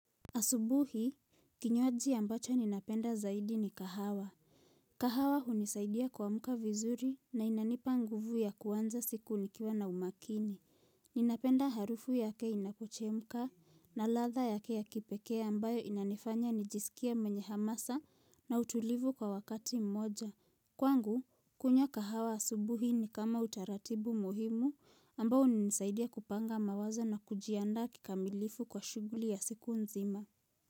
Asubuhi, kinywaji ambacho ninapenda zaidi ni kahawa. Kahawa hunisaidia kuamka vizuri na inanipa nguvu ya kuanza siku nikiwa na umakini. Ninapenda harufu yake inakochemka na ladha yake ya kipekee ambayo inanifanya nijisikie mwenye hamasa na utulivu kwa wakati mmoja. Kwangu, kunywa kahawa asubuhi ni kama utaratibu muhimu ambao hunisaidia kupanga mawazo na kujiandaa kikamilifu kwa shuguli ya siku nzima.